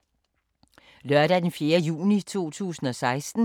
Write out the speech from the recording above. Lørdag d. 4. juni 2016